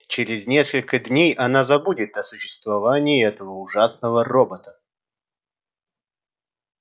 через несколько дней она забудет о существовании этого ужасного робота